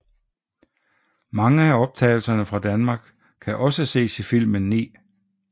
Mange af optagelserne fra Danmark kan også ses i filmen 9